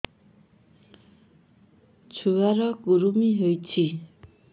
ଛୁଆ ର କୁରୁମି ହୋଇଛି